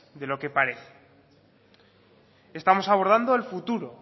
de lo que parece estamos abordando el futuro